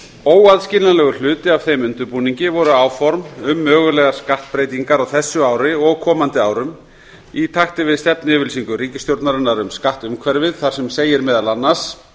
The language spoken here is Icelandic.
óaðskiljanlegur hluti af þeim undirbúningi voru áform um mögulegar skattbreytingar á þessu ári og komandi árum í takti við stefnuyfirlýsingu ríkisstjórnarinnar um skattumhverfið þar segir meðal annars